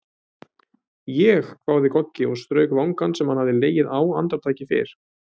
Ég?! hváði Goggi og strauk vangann sem hann hafði legið á andartaki fyrr.